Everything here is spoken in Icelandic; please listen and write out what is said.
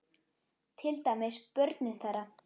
Til dæmis börnin þeirra.